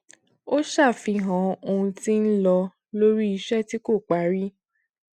ó ṣàfihàn ohun tí ń lọ lórí iṣẹ tí kò parí